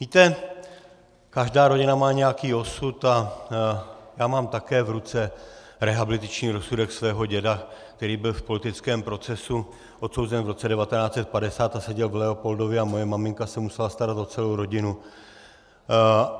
Víte, každá rodina má nějaký osud a já mám také v ruce rehabilitační rozsudek svého děda, který byl v politickém procesu odsouzen v roce 1950 a seděl v Leopoldově, a moje maminka se musela starat o celou rodinu.